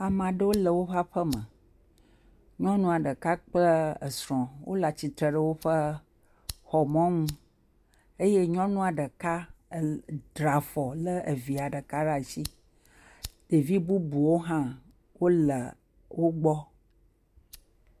Ame aɖewo le woƒe aƒe me. Nyɔnua ɖeka kple esrɔ̃ wole atsitre woƒe exɔ mɔnu, eye nyɔnua ɖeka dra afɔ lé evia ɖeka ɖe asi, ɖevi bubuwo hã wole wo gbɔ.